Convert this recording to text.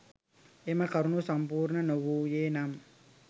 එම කරුණු සම්පූර්ණ නොවූයේ නම්